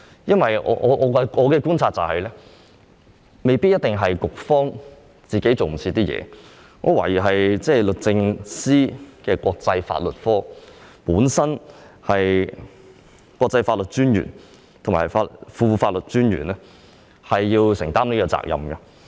因為根據我的觀察，這未必是局方的工作趕不上，我懷疑是律政司國際法律科的國際法律專員和副國際法律專員需要就此承擔責任。